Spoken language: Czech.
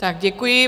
Tak děkuji.